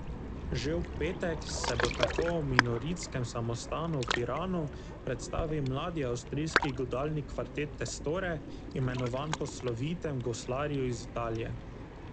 Že v petek se bo tako v Minoritskem samostanu v Piranu predstavil mladi avstrijski godalni kvartet Testore, imenovan po slovitem goslarju iz Italije.